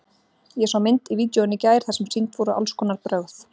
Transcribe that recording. Ég sá mynd í vídeóinu í gær þar sem sýnd voru alls konar brögð.